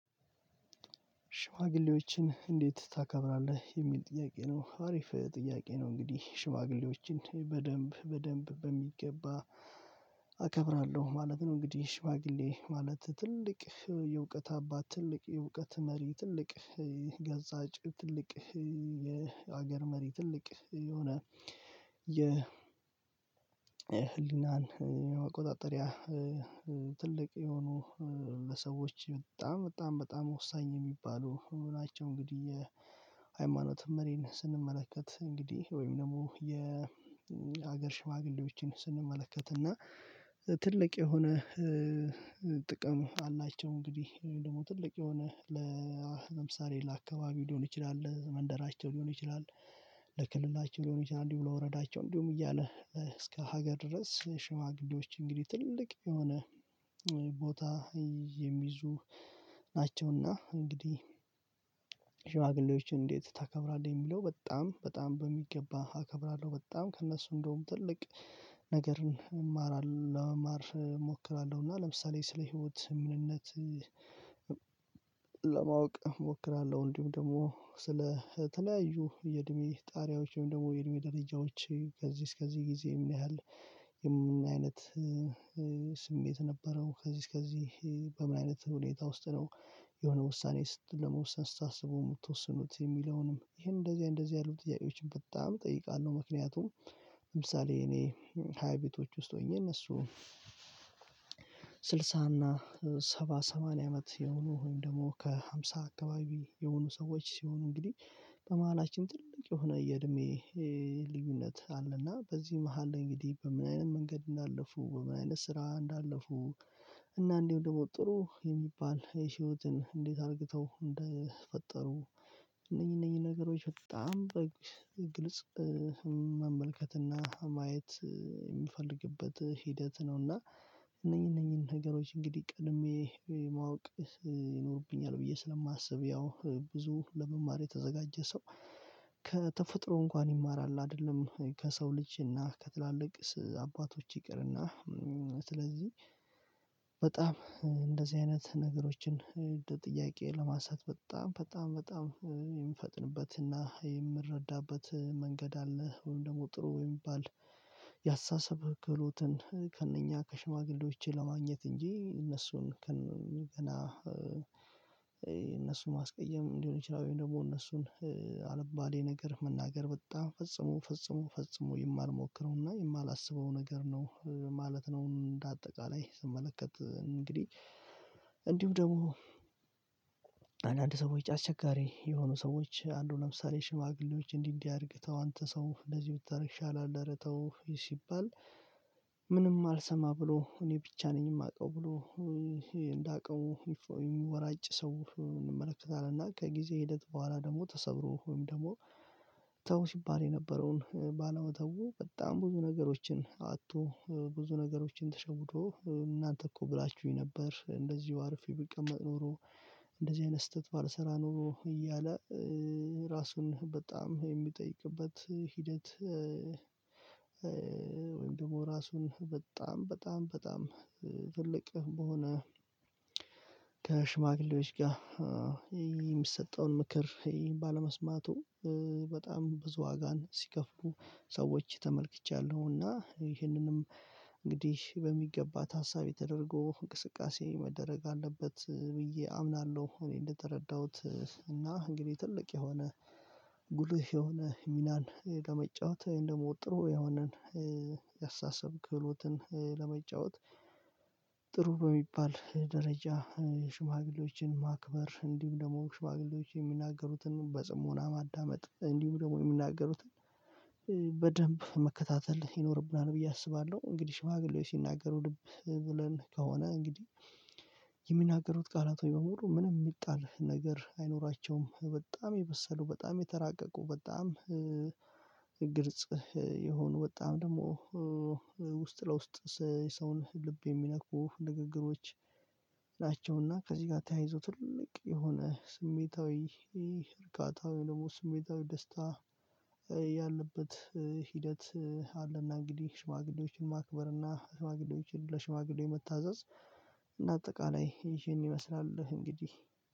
ሽማግሌዎችን እንዴት ታከብራለህ የሚል ጥያቄ ነው አሪፍ ጥያቄ ነው እንግዲህ ሽማግሌዎችን በደንብ በደንብ በሚገባ አከብራለሁ ማለት ነው። እንግዲህ ሽማግሌ ማለት ትልቅ የእውቀት አባት ትልቅ የእውቀት መሪ ትልቅ ገጻጭ ትልቅ የሀገር መሪ ትልቅ የሆነ የ ህሊናን የመቆጣጠሪያ ትልቅ የሆኑ ለሰዎች በጣም በጣም በጣም ወሳኝ የሚባሉ ናቸው። እንግዲህ የሃይማኖት መሪን ስንመለከት እንግዲህ ወይም ደግሞ የሀገር ሽዋግሌዎችን ስንመለከትና ትልቅ የሆነ ጥቅም አላቸው እንግዲህ ወይም ደግሞ ትልቅ የሆነ ለምሳሌ ለአካባቢ ሊሆን ይችላል ለመንደራቸው ሊሆን ይችላል ለክልላቸው ሊሆን ይችላል እንዲሁ ብሎ ለወረዳቸው እንዲሁም እያለ እስከ ሀገር ድረስ ሽማግሌዎች እንግዲህ ትልቅ የሆነ ቦታ የሚይዙ ናቸውና እንግዲህ ሽማግሌዎችን እንዴት ታከብራለህ የሚለው በጣም በጣም በሚገባ አከብራለሁ። በጣም ከእነሱ እንደውም ትልቅ ነገርን እማራለሁ ለመማር እሞክራለሁ እና ለምሳሌ ስለ ህይወት ምንነት ለማወቅ እሞክራለሁ እንዲሁም ደግሞ ስለተለያዩ የእድሜ ጣሪያዎችም ደግሞ የእድሜ ደረጃዎች ከዚህ እስከዚህ ጊዜ ምን ያህል የምን አይነት ስሜት ነበረው ከዚህ እስከዚህ በምን አይነት ሁኔታ ውስጥ ነው የሆነ ውሳኔ ስትል ለመውሰን ስታስበው የምትወስኑት የሚለውንም ይሄን እንደዚህ እንደዚህ ያሉ ጥያቄዎችን በጣም እጠይቃለሁ። ምክንያቱም ለምሳሌ እኔ ሃይ ቤቶች ውስጥ ሆኜ እነሱ ስድሳ እና ሰባ ሰማንያ አመት የሆኑ ወይም ደግሞ ከሃምሳ አካባቢ የሆኑ ሰዎች ሲሆኑ እንግዲህ በመሃላችን ትልቅ የሆነ የእድሜ ልዩነት አለና። በዚህ መሃል እንግዲህ በምን አይነት መንገድ እንዳለፉ በምን አይነት ስራ እንዳለፉ እና እንዲሁ ደግሞ ጥሩ የሚባል የህይወትን እንዴት አርግተው እንደፈጠሩ እነኚ እነኚ ነገሮች በጣም በግልጽ መመልከትና ማየት የምፈልግበት ሂደት ነውና። እነኚህ እነኚህን ነገሮች እንግዲህ ቀድሜ ማወቅ ይኖርብኛል ብዬ ስለማስብ ያው ብዙ ለመማር የተዘጋጀ ሰው ከተፈጥሮ እንኳን ይማራል አይደለም ከሰው ልጅ እና ከትላልቅ አባቶች ይቅርና ስለዚህ በጣም እንደዚህ አይነት ነገሮችን ጥያቄ ለማንሳት በጣም በጣም በጣም የምፈጥንበትና የምረዳበት መንገድ አለ። ወይም ደግሞ ጥሩ ወይም የሚባል ያስተሳሰብ ክሎትን ከእነኛ ከሽማግሌዎቼ ለማግኘት እንጂ እነሱን ገና እነሱን ማስቀየም እንዲሆን ይችላል ወይም ደግሞ እነሱን አልባሌ ነገር መናገር በጣም ፈጽሞ ፈጽሞ ፈጽሞ የማልሞክረውና የማላስበው ነገር ነው ማለት ነው። እንደ አጠቃላይ ስመለከት እንግዲህ እንዲሁም ደግሞ አንዳንድ ሰዎች አስቸጋሪ የሆኑ ሰዎች አንዱ ለምሳሌ ሽማግሌዎች እንዲህ እንዲህ አድርግተው አንተ ሰው እንደዚህ ብታረግ ይሻለሀል ኧረተው ሲባል ምንም አልሰማ ብሎ እኔ ብቻ ነኝ የማውቀው ብሎ እንዳቅሙ እሚወራጭ ሰው እንመለከታለን። እና ከጊዜ ሂደት በኋላ ደግሞ ተሰብሮ ወይም ደግሞ ተው ሲባል የነበረውን ባለውመተው በጣም ብዙ ነገሮችን አጥቶ ብዙ ነገሮችን ተሸውዶ እናንተ እኮ ብላችሁኝ ነበር እንደዚሁ አርፌ ብቀመጥ ኖሮ እንደዚህ አይነት ስህተት ባልሰራ ኖሮ እያለ ራሱን በጣም የሚጠይቅበት ሂደት ወይም ደግሞ ራሱን በጣም በጣም በጣም ትልቅ በሆነ ከሽማግሌዎች ጋር የሚሰጠውን ምክር ባለመስማቱ በጣም ብዙ ዋጋን ሲከፍሉ ሰዎች ተመልክቻለሁና ይህንንም እንግዲህ በሚገባት ታሳቢ ተደረጎ እንቅስቃሴ መደረግ አለበት ብዬ አምናለሁ። እኔ እንደተረዳሁት እና እንግዲህ ትልቅ የሆነ ጉልህ የሆነ ሚናን ለመጫወት እንዉሞ ጥሩ የሆነን ያስተሳሰብ ክህሎትን ለመጫወት ጥሩ በሚባል ደረጃ ሽማግሌዎችን ማክበር እንዲሁም ደግሞ ሽማግሌዎች የሚናገሩትን በጽሞና ማዳመጥ እንዲሁ ደግሞ የሚናገሩትን በደንብ መከታተል ይኖርብናል ብዬ አስባለሁ። እንግዲህ ሽማግሌ ሲናገሩ ልብ ብለን ከሆነ እንግዲህ የሚናገሩት ቃላቶች በሙሉ ምንም የሚጣል ነገር አይኖራቸውም በጣም የበሰሉ በጣም የተራቀቁ በጣም ግልጽ የሆኑ በጣም ደግሞ ውስጥ ለውስጥ የሰውን ልብ የሚነኩ ንግግሮች እና ከዚህ ጋር ተያይዞ ትልቅ የሆነ ስሜታዊ እርካታዊ ደግሞ ስሜታዊ ደስታ ያለበት ሂደት አለና። እንግዲህ ሽማግሌዎችን ማክበርና ሽማግሌዎችን ለሽማግሌ መታዘዝ እና አጠቃላይ ይሄን ይመስላል እንግዲህ።